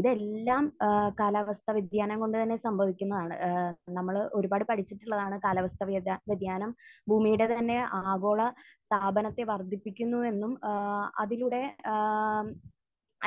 ഇതെല്ലാം ഏഹ് കാലാവസ്ഥാവ്യതിയാനം കൊണ്ട് തന്നെ സംഭവിക്കുന്നതാണ്. ഏഹ് നമ്മൾ ഒരുപാട് പഠിച്ചിട്ടുള്ളതാണ് കാലാവസ്ഥാവ്യതിയാനം ഭൂമിയുടെ തന്നെ ആഗോള താപനത്തെ വർധിപ്പിക്കുന്നുവെന്നും ഏഹ് അതിലൂടെ ഏഹ്